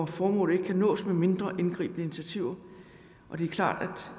formålet ikke kan nås med mindre indgribende initiativer det er klart